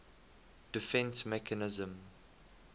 defence mechanism